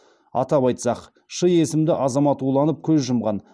атап айтсақ ш есімді азамат уланып көз жұмған